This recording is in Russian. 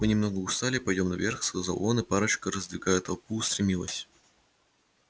мы немного устали пойдём наверх сказал он и парочка раздвигая толпу устремилась